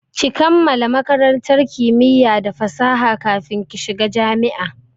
Ki kammala makarantar kimiya da fasaha kafin ki shiga jami'a!